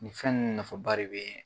Nin fɛn nunnu nafaba de bee